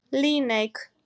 Líneik